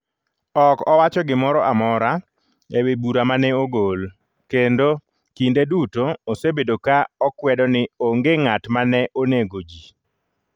Ok owacho gimoro amora e wi bura ma ne ogol, kendo kinde duto osebedo ka okwedo ni onge ng’at ma ne onego ji.